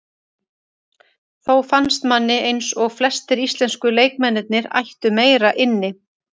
Þó fannst manni eins og flestir íslensku leikmennirnir ættu meira inni.